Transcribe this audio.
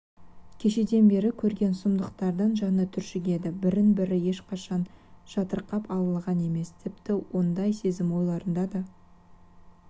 кешеден бергі көрген сұмдықтардан жаны түршігеді бірін-бірі ешқашан жатырқап алалаған емес тіпті ондай сезім ойларына да